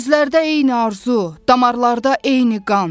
Gözlərdə eyni arzu, damarlarda eyni qan.